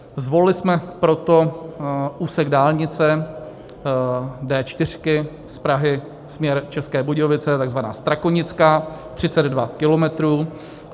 Zvolili jsme proto úsek dálnice D4 z Prahy, směr České Budějovice, takzvaná Strakonická, 32 kilometrů.